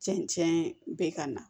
Cɛncɛn bɛ ka na